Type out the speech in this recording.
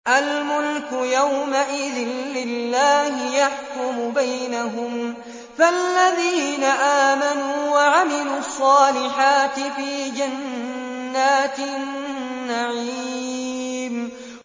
الْمُلْكُ يَوْمَئِذٍ لِّلَّهِ يَحْكُمُ بَيْنَهُمْ ۚ فَالَّذِينَ آمَنُوا وَعَمِلُوا الصَّالِحَاتِ فِي جَنَّاتِ النَّعِيمِ